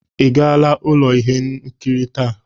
Ị gara ụlọ ihe nkiri taa?